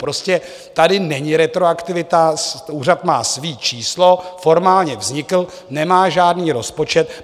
Prostě tady není retroaktivita, úřad má své číslo, formálně vznikl, nemá žádný rozpočet.